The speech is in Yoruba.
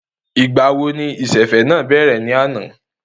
Ìgbà wo ni ìsẹ̀fẹ̀ náà bẹ̀rẹ̀ ní àná?